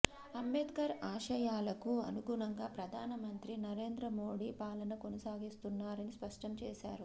అంబేద్కర్ ఆశయాలకు అనుగు ణంగా ప్రధాన మంత్రి నరేంద్రమోడీ పాలన కొనసాగిస్తున్నారని స్పష్టంచేశారు